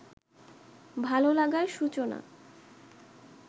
ভালোলাগার সূচনা